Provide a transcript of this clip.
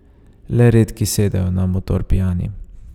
Le redki sedejo na motor pijani.